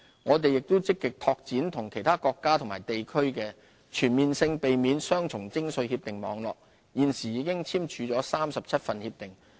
我們亦積極拓展與其他國家及地區的全面性避免雙重徵稅協定網絡，現時已簽署37份協定。